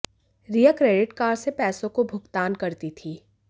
रिया credit card से पैसों को भुगतान करती थी